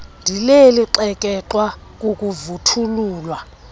ndileli xekexwa kukuvuthululwa